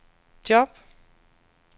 job